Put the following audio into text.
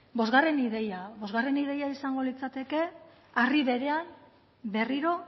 bostgarren ideia bostgarren ideia izango litzateke harri berean berriro